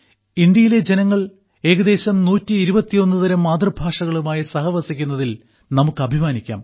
ഇന്ത്യയിലെ ജനങ്ങൾ ഏകദേശം 121 തരം മാതൃഭാഷകളുമായി സഹവസിക്കുന്നതിൽ നമുക്ക് അഭിമാനിക്കാം